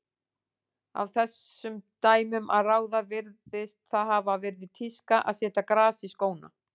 Af þessum dæmum að ráða virðist það hafa verið tíska að setja gras í skóna.